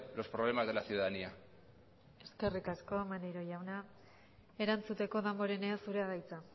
los problemas de la ciudadanía eskerrik asko maneiro jauna erantzuteko damborenea zurea da hitza